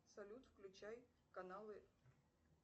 салют включай каналы